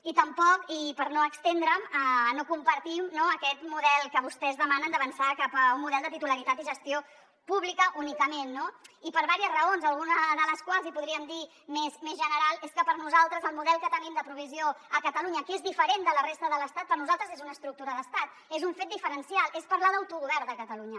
i tampoc i per no estendre’m no compartim aquest model que vostès demanen d’avançar cap a un model de titularitat i gestió públiques únicament no i per diverses raons alguna de les quals i podríem dir més general és que per nosaltres el model que tenim de provisió a catalunya que és diferent de la resta de l’estat és una estructura d’estat és un fet diferencial és parlar d’autogovern de catalunya